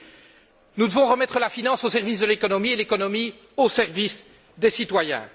Oui, nous devons remettre la finance au service de l'économie et l'économie au service des citoyens.